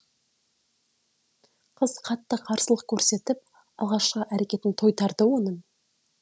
қыз қатты қарсылық көрсетіп алғашқы әрекетін тойтарды оның